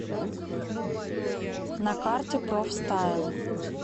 на карте профстайл